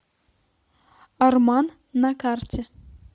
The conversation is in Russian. арман на карте